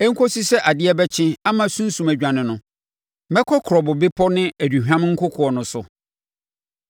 Ɛnkɔ si sɛ adeɛ bɛkye, ama sunsum adwane no, mɛkɔ kurobo bepɔ ne aduhwam nkokoɔ no so.